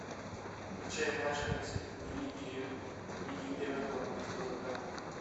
включай матч английской премьер лиги эвертона против тоттенхэма